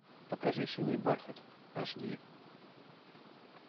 покажи синий бархат аш ди